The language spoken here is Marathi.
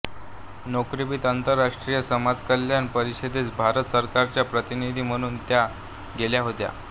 नैरोबीत आंतरराष्ट्रीय समाजकल्याण परिषदेस भारत सरकारच्या प्रतिनिधी म्हणून त्या गेल्या होत्या